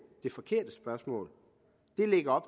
det forkerte spørgsmål det lægger